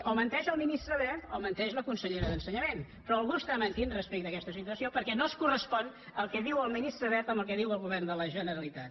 o menteix el ministre wert o menteix la consellera d’ensenyament però algú està mentint respecte a aquesta situació perquè no es correspon el que diu el ministre wert amb el que diu el govern de la generalitat